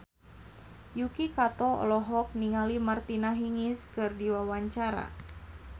Yuki Kato olohok ningali Martina Hingis keur diwawancara